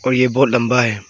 और ये बहुत लंबा है।